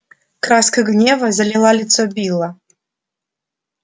краска гнева залила лицо билла